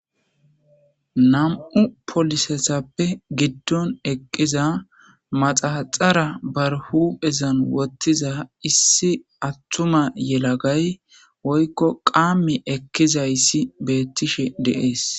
nam'u polisezappe gidon eqiza maxaxara ba huphezan wothiza issi yelaga attuama na'ay qami ekkizaysi betishe de'es